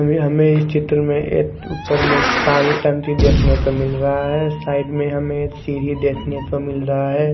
इनमे हमे इस चित्र में एक ऊपर में पानी टंकी देखने को मिल रहा है साइड में हमे एक सीढ़ी देखने को मिल रहा है।